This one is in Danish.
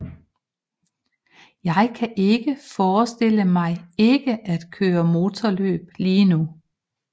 Jeg kan ikke forestille mig ikke at køre motorløb lige nu